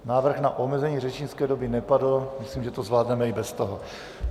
Návrh na omezení řečnické doby nepadl, myslím, že to zvládneme i bez toho.